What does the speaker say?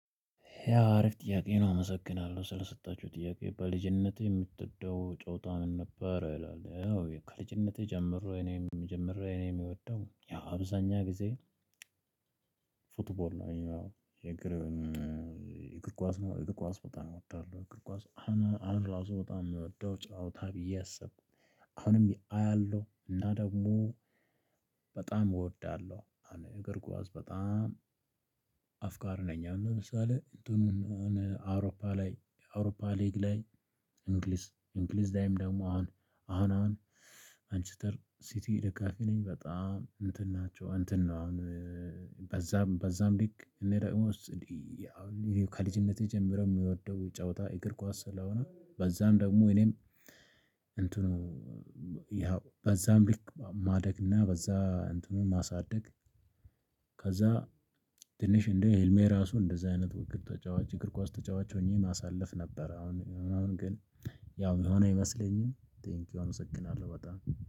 ያ አሪፍ ጥያቄ ነው አመሰግናለሁ ስለሰጣችሁኝ ጥያቄ በልጅነቴ የምትወደው ጨዋታ ምን ነበር? ይላል ያው ከልጅነቴ ጀምሮ እኔም የምጀምር እኔ ምወደው ያው አብዛኛው ጊዜ። ፉትቦል ነው የእግር እግር ኳስ ነው እግር ኳስ በጣም እወዳለሁ እግር ኳስ አሁን ራሱ በጣም ነው የምወደው ጫወታ ብዬ አስብ። አሁንም አያለው እና ደግሞ በጣም እወዳለሁ። እግር ኳስ በጣም አፍቃሪ ነኝ። አሁን ለምሳሌ እንትኑን አውሮፓ ላይ አውሮፓ ሊግ ላይ። እንግሊዝ እንግሊዝ ላይም ደግሞ አሁን አሁን ማንችስተር ሲቲ ደጋፊ ነኝ። በጣም እንትን ናቸው እንትን ነው። አሁን በዛም በዛም ልክ እኔ ደግሞ እንዲህ። ከልጅነቴ ጀምሮ የምወደው ጨዋታ የእግር ኳስ ስለሆነ በዛም ደግሞ እኔም እንትኑ ያው በዛም ልክ ማደግና በዛ እንትኑን ማሳደግ። ከዛ ትንሽ እንደ ህልሜ ራሱ እንደዚህ አይነት ተጫዋች እግር ኳስ ተጫዋች ሆኜ ማሳለፍ ነበር። አሁን አሁን ግን ያው ሚሆን አይመስለኝም። ቴንኪው አመሰግናለሁ በጣም